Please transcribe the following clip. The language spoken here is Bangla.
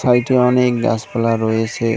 বাড়িতে অনেক গাছপালা রয়েছে।